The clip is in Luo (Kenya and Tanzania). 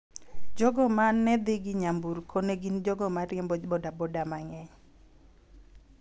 Jogo ma ne dhi gi nyamburkogo ne gin jogo ma ne riembo boda boda mang�eny.